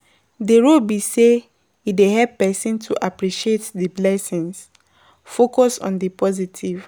di role be say e dey help pesin to appreciate di blessings, focus on di positive.